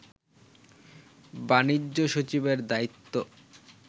বাণিজ্য সচিবের দায়িত্ব